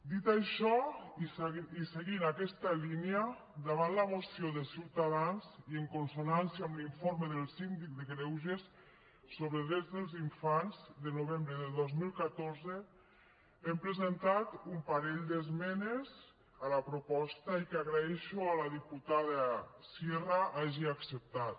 dit això i seguint aquesta línia davant la moció de ciutadans i en consonància amb l’informe del síndic de greuges sobre drets dels infants de novembre del dos mil catorze hem presentat un parell d’esmenes a la proposta i que agraeixo a la diputada sierra que hagi acceptat